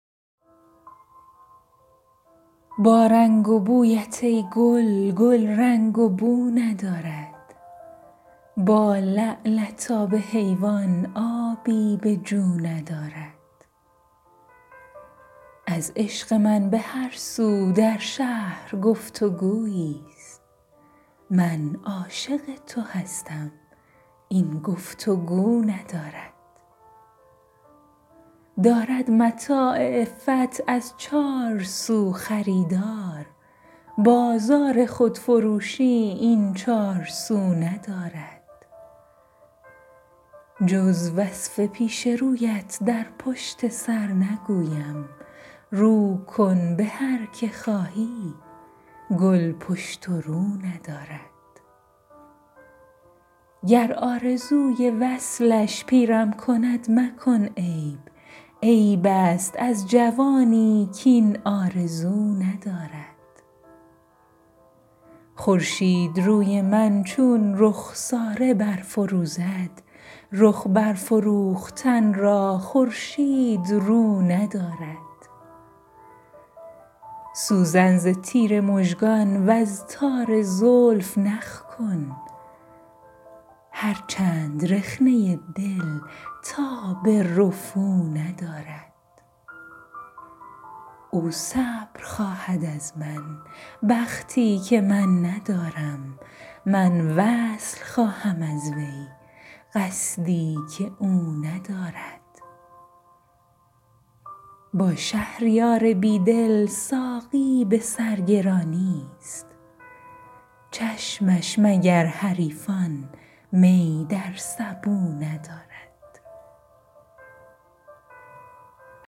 با رنگ و بویت ای گل گل رنگ و بو ندارد با لعلت آب حیوان آبی به جو ندارد از عشق من به هر سو در شهر گفتگویی است من عاشق تو هستم این گفتگو ندارد دارد متاع عفت از چار سو خریدار بازار خودفروشی این چار سو ندارد جز وصف پیش رویت در پشت سر نگویم رو کن به هر که خواهی گل پشت و رو ندارد محراب ابروانت خواند نماز دل ها آری بمیرد آن دل کز خون وضو ندارد گر آرزوی وصلش پیرم کند مکن عیب عیب است از جوانی کاین آرزو ندارد خورشید روی من چون رخساره برفروزد رخ برفروختن را خورشید رو ندارد در تار طره شب تا روی روز بنهفت دل نیست کو تعلق با تار مو ندارد سوزن ز تیر مژگان وز تار زلف نخ کن هر چند رخنه دل تاب رفو ندارد او صبر خواهد از من بختی که من ندارم من وصل خواهم از وی قصدی که او ندارد با شهریار بی دل ساقی به سرگرانی است چشمش مگر حریفان می در سبو ندارد